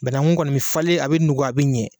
Banagun kɔni bɛ falen a bɛ nugu a bɛ ɲɛ.